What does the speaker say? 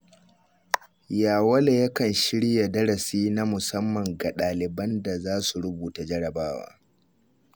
Yawale yakan shirya darasi na musamman ga ɗaliban da za su rubuta jarrabawa